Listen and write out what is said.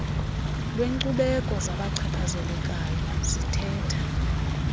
lwenkcubeko zabachaphazelekayo zithetha